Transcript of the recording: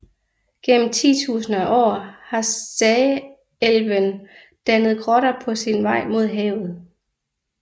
Gennem titusinder af år har Sagelven dannet grotter på sin vej mod havet